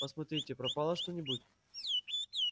посмотри пропало что-нибудь